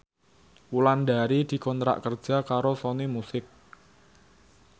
Wulandari dikontrak kerja karo Sony Music